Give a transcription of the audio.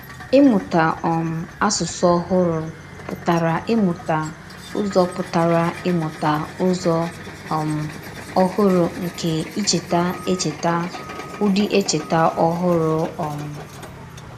Ìmụ̀tà um àsụsụ ọ̀hụrụ pụtara ìmụ̀tà Ụ́zọ̀ pụtara ìmụ̀tà Ụ́zọ̀ um ọ̀hụrụ nke ìchè̀ èchètà, ùdí èchètà ọ̀hụrụ. um